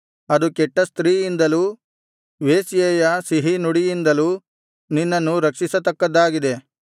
ಅದು ಕೆಟ್ಟ ಸ್ತ್ರೀಯಿಂದಲೂ ವೇಶ್ಯೆಯ ಸಿಹಿನುಡಿಯಿಂದಲೂ ನಿನ್ನನ್ನು ರಕ್ಷಿಸತಕ್ಕದ್ದಾಗಿದೆ